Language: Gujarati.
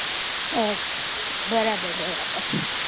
અચ્છા બરાબર બરાબર